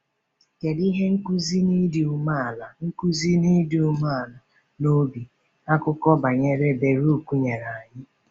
Kedu ihe nkuzi n’ịdị umeala nkuzi n’ịdị umeala n’obi akụkọ banyere Baruk nyere anyị?